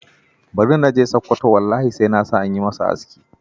Bari na je Sakwato, wallahi sai na sa an yi masa aski.